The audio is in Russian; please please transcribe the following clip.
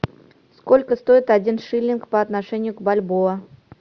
сколько стоит один шиллинг по отношению к бальбоа